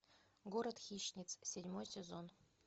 город хищниц седьмой сезон